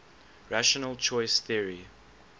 rational choice theory